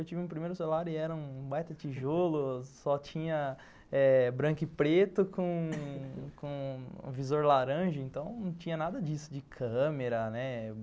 Eu tive meu primeiro celular e era um baita tijolo, só tinha eh branco e preto com com com um visor laranja, então não tinha nada disso de câmera, né?